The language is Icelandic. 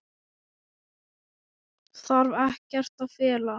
Þarf ekkert að fela.